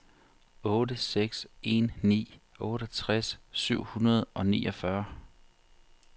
otte seks en ni otteogtres syv hundrede og niogfyrre